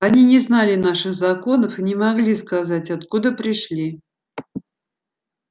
они не знали наших законов и не могли сказать откуда пришли